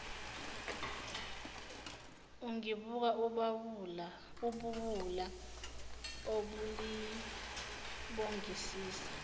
ungibuka ubuwula ubolibongisisa